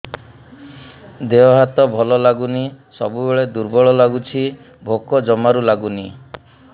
ଦେହ ହାତ ଭଲ ଲାଗୁନି ସବୁବେଳେ ଦୁର୍ବଳ ଲାଗୁଛି ଭୋକ ଜମାରୁ ଲାଗୁନି